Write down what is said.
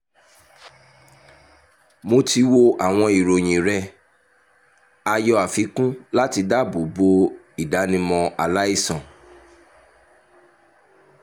mo ti wo àwọn ìròyìn rẹ (a yọ àfikún láti dáàbò bo ìdánimọ aláìsàn)